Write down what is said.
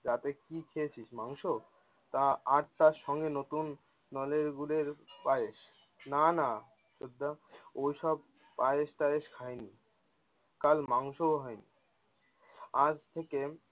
রাতে কী খেয়েছিস মাংস? তা আর তার সঙ্গে নতুন নলের গুড়ের পায়েশ না না ওসব পায়েশ টায়েশ খাইনি। কাল মাংসও হয়নি। আজ থেকে